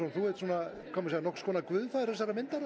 þú ert nokkurs konar guðfaðir myndarinnar